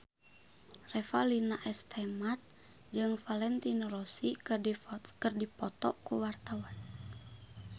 Revalina S. Temat jeung Valentino Rossi keur dipoto ku wartawan